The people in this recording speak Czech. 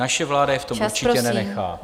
Naše vláda je v tom určitě nenechá.